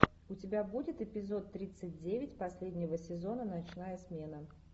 у тебя будет эпизод тридцать девять последнего сезона ночная смена